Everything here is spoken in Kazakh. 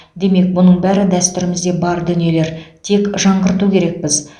демек мұның бәрі дәстүрімізде бар дүниелер тек жаңғырту керекпіз